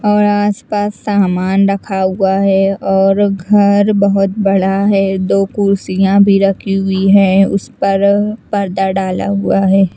और आस पास सामान रखा हुआ है और घर बहुत बड़ा है दो कुर्सियाँ भी रखी है उस पर पर्दा डाला हुआ है।